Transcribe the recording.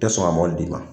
Tɛ sɔn ka mɔbil d'i ma